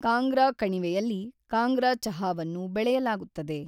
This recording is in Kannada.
ಕಾಂಗ್ರಾ ಕಣಿವೆಯಲ್ಲಿ ಕಾಂಗ್ರಾ ಚಹಾವನ್ನು ಬೆಳೆಯಲಾಗುತ್ತದೆ.